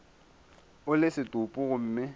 o le setopo gomme go